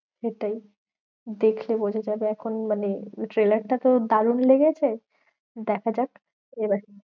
সেটাই দেখলে বোঝা যাবে এখন মানে trailer টা তো দারুন লেগেছে। দেখা যাক